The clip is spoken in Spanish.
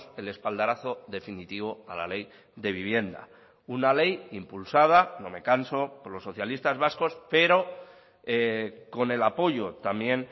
el espaldarazo definitivo a la ley de vivienda una ley impulsada no me canso por los socialistas vascos pero con el apoyo también